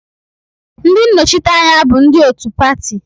Ndị nnọchiteanya bụ ndị otu pati